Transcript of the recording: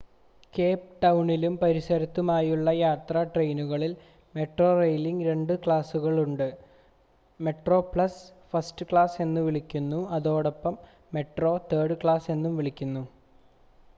Cape ടൗണിലും പരിസരത്തുമുള്ള യാത്രാ ട്രെയിനുകളിൽ മെട്രോറെയിലിന് രണ്ട് ക്ലാസുകൾ ഉണ്ട്: മെട്രോപ്ലസ് ഫസ്റ്റ് ക്ലാസ് എന്നും വിളിക്കുന്നു അതോടൊപ്പം മെട്രോ തേർഡ് ക്ലാസ് എന്നും വിളിക്കുന്നു